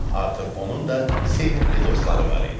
Artıq onun da sevimli dostları var idi.